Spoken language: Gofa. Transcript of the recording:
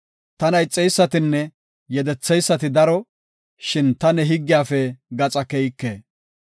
Tana ixeysatinne yedetheysati daro; shin ta ne higgiyafe gaxa keyike.